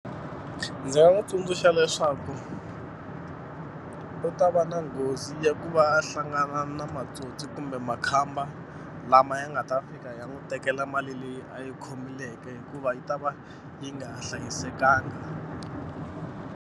Ndzi nga n'wi tsundzuxa leswaku u ta va na nghozi ya ku va a hlangana na matsotsi kumbe makhamba lama ya nga ta fika ya n'wi tekela mali leyi a yi khomeleke hikuva yi ta va yi nga hlayisekanga.